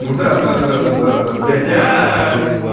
ну да да да да блядь